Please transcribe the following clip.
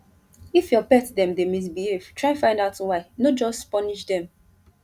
if your pet dem dey misbehave try find out why no just punish dem